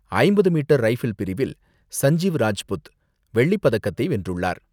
ஐம்பது metre rifle பிரிவில் சஞ்சீவ் ராஜ்புட் வெள்ளி பதக்கத்தை வென்றுள்ளார்.